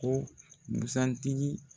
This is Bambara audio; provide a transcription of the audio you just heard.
Ko busan tigi